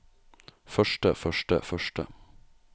første første første